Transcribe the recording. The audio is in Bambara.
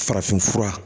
Farafin fura